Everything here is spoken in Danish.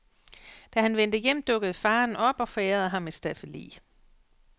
Da han vendte hjem, dukkede faderen op og forærede ham et staffeli.